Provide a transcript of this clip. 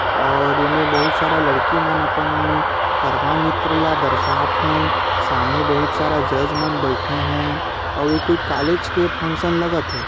और एमे बहुत सारा लड़की मन अपन गरबा नृत्य ल दर्शा थे सामने बहुत सारा जज मन बईथे हे अऊ ए कोई कॉलेज के लगा थे।